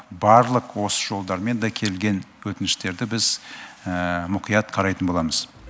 барлық осы жолдармен де келген өтініштерді біз мұқият қарайтын боламыз